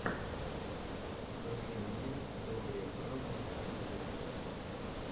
покажи мне добре бразерс ютуб